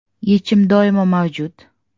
Yechim doimo mavjud!